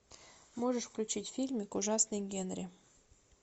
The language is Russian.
можешь включить фильмик ужасный генри